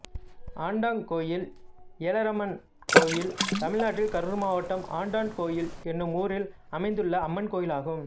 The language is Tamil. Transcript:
ஆண்டாங்கோயில் ஏலரம்மன் கோயில் தமிழ்நாட்டில் கரூர் மாவட்டம் ஆண்டாங்கோயில் என்னும் ஊரில் அமைந்துள்ள அம்மன் கோயிலாகும்